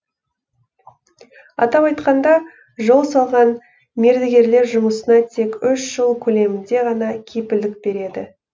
атап айтқанда жол салған мердігерлер жұмысына тек үш жыл көлемінде ғана кепілдік береді